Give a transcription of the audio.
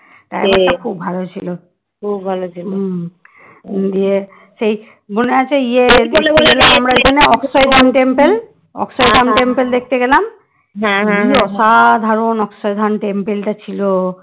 অক্ষয় Dham temple দেখতে গেলাম কি অসাধারণ অক্ষয় ধাম temple টা ছিল।